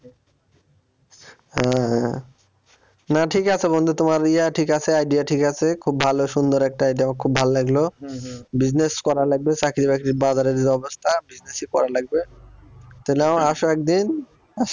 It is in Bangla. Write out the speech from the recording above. হ্যাঁ না ঠিক আছে বন্ধু তোমার ইয়া ঠিক আছে idea ঠিক আছে খুব ভালো সুন্দর একটা idea আমার খুব ভাল লাগলো business করা লাগবে চাকরি বাকরি বাজারের যা অবস্থা business ই করা লাগবে তাহলে মামা আসো একদিন আসে